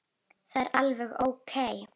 Það er alveg ókei.